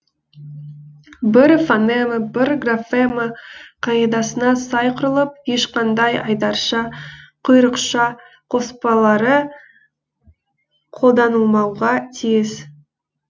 бір фонема бір графема қағидасына сай құрылып ешқандай айдарша құйрықша қоспалары қолданылмауға тиіс